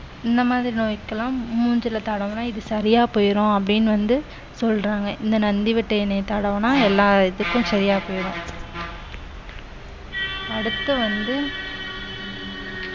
இந்த மாதிரி நோய்க்கெல்லாம் மூஞ்சில தடவுனா இது சரியா போயிரும் அப்படின்னு வந்து சொல்றாங்க இந்த நந்தி வட்டை எண்ணெய்ய தடவினா எல்லா இதுக்கும் சரியா போயிரும் அடுத்து வந்து